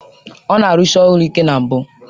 Ọ na-arụsi ọrụ ike na mbụ